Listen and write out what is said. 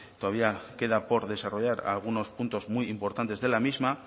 todavía queda por desarrollar algunos puntos muy importantes de la misma